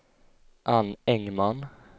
Ann Engman